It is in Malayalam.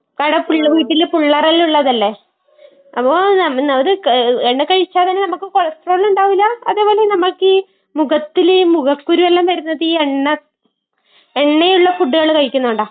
കാരണം പുള്ളവീട്ടില് പുള്ളാരെല്ലാം ഉള്ളതല്ലേ. അപ്പൊ... എണ്ണ കഴിച്ചാലും നമുക്ക് കൊളസ്ട്രോളും ഉണ്ടാവില്ല. അതേ പോലെ നമുക്ക് ഈ മുഖത്തില് ഈ മുഖക്കുരു എല്ലാം വരുന്നത് ഈ എണ്ണ...എണ്ണയുള്ള ഫുഡ്ഡുകൾ കഴിക്കുന്നത് കൊണ്ടാ.